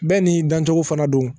Bɛɛ n'i dancogo fana don